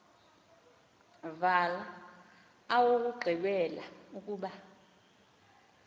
wala owokugqibela ukuba